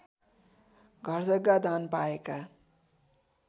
घरजग्गा दान पाएका